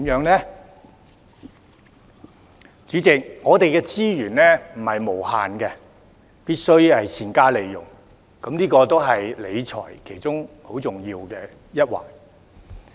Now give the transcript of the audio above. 代理主席，我們的資源不是無限的，必須善加利用，這個也是理財其中很重要的一環。